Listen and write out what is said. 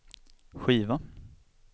skiva